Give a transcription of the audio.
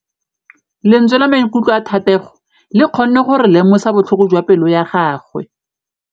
Lentswe la maikutlo a Thategô le kgonne gore re lemosa botlhoko jwa pelô ya gagwe.